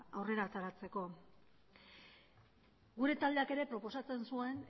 aurrera ateratzeko gure taldeak ere proposatzen zuen